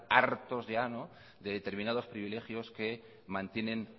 hartos de determinados privilegios que mantienen